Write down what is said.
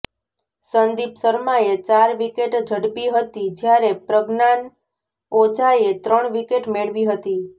સંદીપ શર્માએ ચાર વિકેટ ઝડપી હતી જ્યારે પ્રજ્ઞાાન ઓઝાએ ત્રણ વિકેટ મેળવી હતી